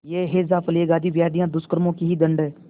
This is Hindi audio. यह हैजाप्लेग आदि व्याधियाँ दुष्कर्मों के ही दंड हैं